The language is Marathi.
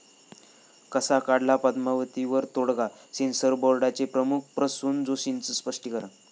कसा काढला 'पद्मावती'वर तोडगा? सेन्सॉर बोर्डाचे प्रमुख प्रसून जोशींचं स्पष्टीकरण